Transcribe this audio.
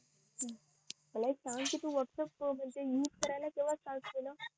मला एक सांग तू व्हॅटप्प्स यूज करायला केव्हा start केलं